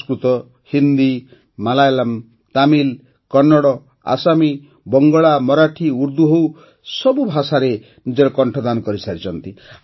ସଂସ୍କୃତ ହିନ୍ଦୀ ମାଲାୟାଲାମ୍ ତାମିଲ୍ କନ୍ନଡ଼ ହେଉ କି ଆସାମୀ ବଙ୍ଗଳା ମରାଠୀ ଉର୍ଦ୍ଦୁ ହେଉ ସେ ଏହି ସବୁ ଭାଷାରେ ନିଜ କଣ୍ଠଦାନ କରିଛନ୍ତି